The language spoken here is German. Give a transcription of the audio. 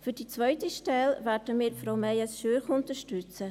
Für die zweite Wahl werden wir Frau Meyes Schürch unterstützen.